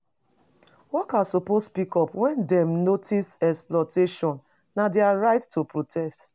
Workers suppsoe speak up wen dem notice exploitation. Na dia rights to protect.